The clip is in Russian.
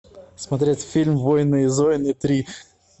смотреть фильм воины и зоины три